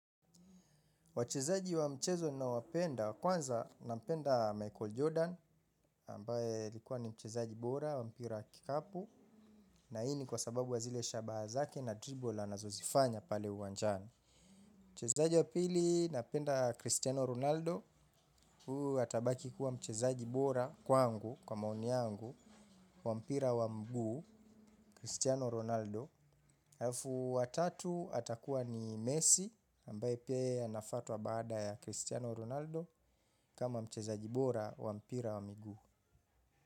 Wachezaji wa mchezo na wapenda, kwanza na mpenda Michael Jordan, ambaye alikuwa ni mchezaji bora, wa mpira wa kikapu, na hii ni kwa sababu wa zile shabaha zake na dribol anazozifanya pale uwanjani. Mchezaaji wa pili napenda Cristiano Ronaldo, huyu atabaki kuwa mchezaji bora kwa angu, kwa maoni yangu, wa mpira wa mguu, Cristiano Ronaldo. Halafu wa tatu atakuwa ni Messi, ambaye pia anafuatwa baada ya Cristiano Ronaldo, kama mchezaji bora, wa mpira wa miguu.